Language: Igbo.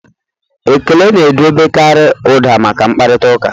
Ekele na-edobekarị ụda maka mkparịta ụka.